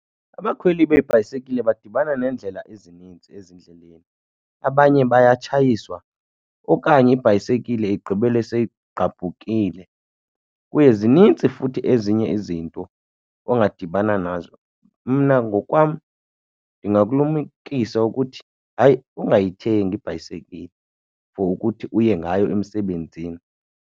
Abakhweli beebhayisekile badibana neendlela ezininzi ezindleleni, abanye bayatshayiswa okanye ibhayisekile igqibele seyigqabhukile. Kuye zinintsi futhi ezinye izinto ongadibana nazo. Mna ngokwam ndingakulumkisa ukuthi hayi ungayithengi ibhayisekile for ukuthi uye ngayo emsebenzini.